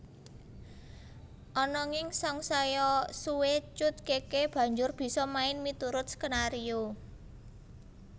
Ananging sangsaya suwé Cut Keke banjur bisa main miturut skenario